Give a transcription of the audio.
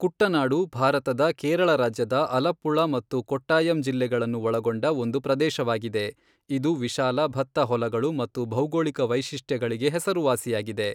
ಕುಟ್ಟನಾಡು ಭಾರತದ ಕೇರಳ ರಾಜ್ಯದ ಅಲಪ್ಪುಳ ಮತ್ತು ಕೊಟ್ಟಾಯಂ ಜಿಲ್ಲೆಗಳನ್ನು ಒಳಗೊಂಡ ಒಂದು ಪ್ರದೇಶವಾಗಿದೆ, ಇದು ವಿಶಾಲ ಭತ್ತ ಹೊಲಗಳು ಮತ್ತು ಭೌಗೋಳಿಕ ವೈಶಿಷ್ಟ್ಯಗಳಿಗೆ ಹೆಸರುವಾಸಿಯಾಗಿದೆ.